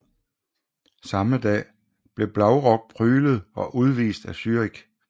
Samme dag blev Blaurock pryglet og udvist af Zürich